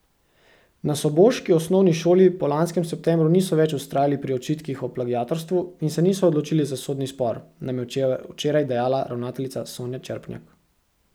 Na soboški osnovni šoli po lanskem septembru niso več vztrajali pri očitkih o plagiatorstvu in se niso odločili za sodni spor, nam je včeraj dejala ravnateljica Sonja Čerpnjak.